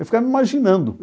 Eu ficava me imaginando.